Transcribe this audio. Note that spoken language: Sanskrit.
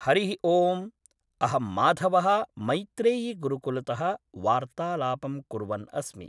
हरिः ओम् अहं माधवः मैत्रेयी गुरुकुलतः वार्तालापं कुर्वन् अस्मि